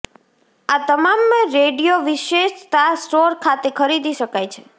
આ તમામ રેડિયો વિશેષતા સ્ટોર ખાતે ખરીદી શકાય છે